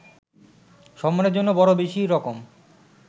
সম্মানের জন্য বড় বেশী রকম